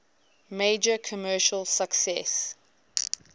major commercial success